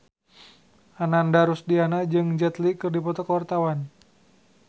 Ananda Rusdiana jeung Jet Li keur dipoto ku wartawan